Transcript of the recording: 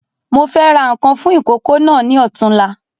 Mo fẹ́ ra nkan fún ìkókó náà ni ọ̀túnla